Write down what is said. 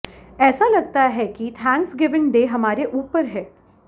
ऐसा लगता है कि थैंक्सगिविंग डे हमारे ऊपर है